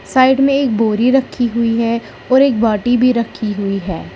Side में एक बोरी रखी हुई है और एक बाटि भी रखी हुई है।